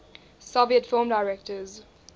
soviet film directors